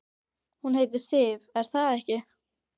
Hún heitir Sif, er það ekki?